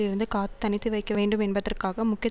இருந்து காத்துத் தனித்து வைக்க வேண்டும் என்பதற்காக முக்கிய